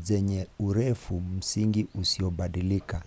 zenye urefu msingi usiobadilika